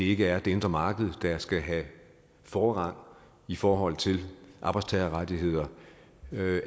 ikke er det indre marked der skal have forrang i forhold til arbejdstagerrettigheder